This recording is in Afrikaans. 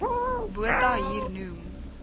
botha hier noem